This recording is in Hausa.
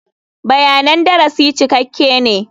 Bayanan darasi cikakke ne.